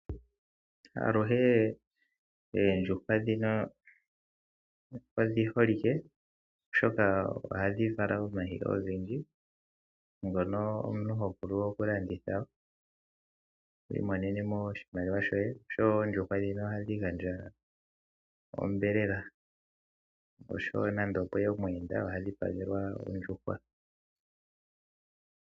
Aluhe oondjuhwa dhino odhi holike oshoka ohadhi vala omayi ogendji. Ngono omuntu ho vulu oku landitha wi imonene mo oshimaliwa shoye. Oshowo oondjuhwa dhino ohadhi gandja onyama oshowo nando opweya omuyenda oha dhipagelwa ondjuhwa.